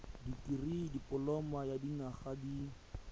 dikirii dipoloma ya dinyaga di